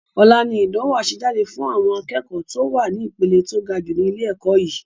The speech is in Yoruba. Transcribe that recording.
Ọlá ni ìdánwò àsejáde fun àwọn akẹ́kọ̀ to wá ní ìpele to gajù ni ilé ẹ̀kọ́ yìí